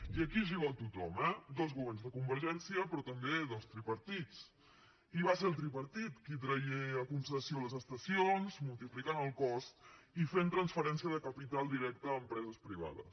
i aquí hi jugueu tothom eh dos governs de convergència però també dos tripartits i va ser el tripartit qui tragué a concessió les estacions multiplicant el cost i fent transferència de capital directe a empreses privades